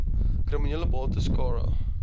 kriminele bates cara